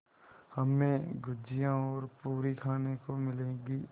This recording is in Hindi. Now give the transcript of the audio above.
हमें गुझिया और पूरी खाने को मिलेंगी